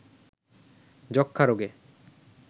যক্ষ্মা রোগে